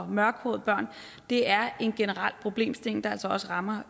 mørkhårede børn det er en generel problemstilling der altså også rammer